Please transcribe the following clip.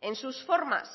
en sus formas